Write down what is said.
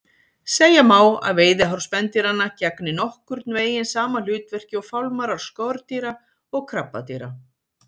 Segja má að veiðihár spendýranna gegni nokkurn veginn sama hlutverki og fálmarar skordýra og krabbadýra.